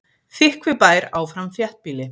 Þykkvibær áfram þéttbýli